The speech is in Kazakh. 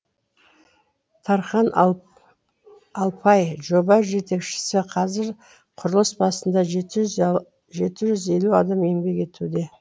тархан алпай жоба жетекшісі қазір құрылыс басында жеті жүз елу адам еңбек етуде